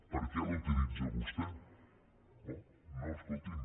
per què l’utilitza vostè no no escolti’m